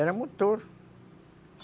Era a motor.